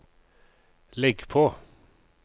legg på